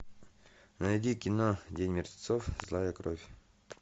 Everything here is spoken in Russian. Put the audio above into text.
найди кино день мертвецов злая кровь